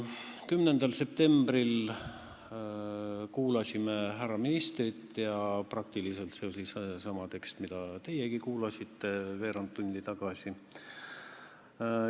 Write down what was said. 10. septembril kuulasime härra ministrit ja seal kõlas peaaegu seesama tekst, mida teiegi kuulasite veerand tundi tagasi.